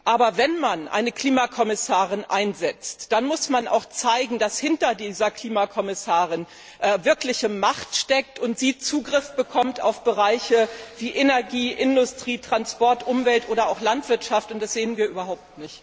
Aber wenn man eine Klimakommissarin einsetzt, dann muss man auch zeigen, dass hinter dieser Klimakommissarin wirkliche Macht steht und sie Zugriff auf Bereiche wie Energie, Industrie, Transport, Umwelt oder Landwirtschaft bekommt. Das sehen wir überhaupt nicht.